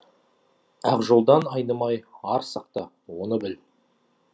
ақ жолдан айнымайар сақта оны біл